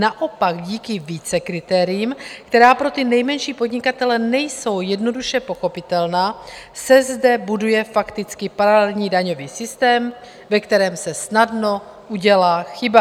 Naopak díky více kritériím, která pro ty nejmenší podnikatele nejsou jednoduše pochopitelná, se zde buduje fakticky paralelní daňový systém, ve kterém se snadno udělá chyba.